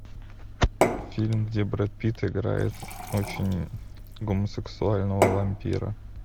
фильм где брэд питт играет очень гомосексуального вампира